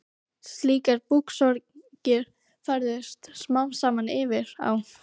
Slíkar búksorgir færðust smám saman yfir á